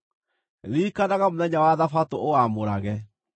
“Ririkanaga mũthenya wa Thabatũ ũwamũrage.